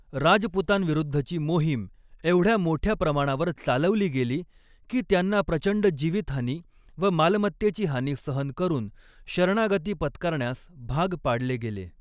राजपुतांविरुद्धची मोहीम एवढ्या मोठ्या प्रमाणावर चालवली गेली, की त्यांना प्रचंड जीवितहानी व मालमत्तेची हानी सहन करून शरणागती पत्करण्यास भाग पाडले गेले.